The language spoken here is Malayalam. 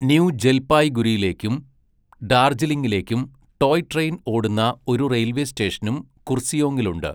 ന്യൂ ജൽപായ്ഗുരിയിലേക്കും ഡാർജിലിംഗിലേക്കും ടോയ് ട്രെയിൻ ഓടുന്ന ഒരു റെയിൽവേ സ്റ്റേഷനും കുർസിയോങ്ങിനുണ്ട്.